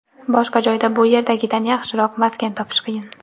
Boshqa joyda bu yerdagidan yaxshiroq maskan topish qiyin.